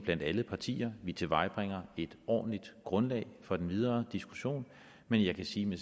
blandt alle partier vi tilvejebringer et ordentligt grundlag for den videre diskussion men jeg kan sige med